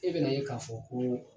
E bɛna ye k'a fɔ ko